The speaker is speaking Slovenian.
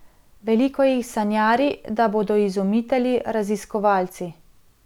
Veliko jih sanjari, da bodo izumitelji, raziskovalci.